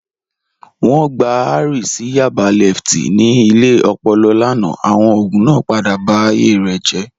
Wọn gbà Henry sí Yaba lẹftí ní ilẹ̀ òpòlò lánà, awọn ogun naa padà bá ayé rẹ jẹ́.